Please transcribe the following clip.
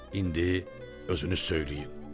İndi özünüz söyləyin.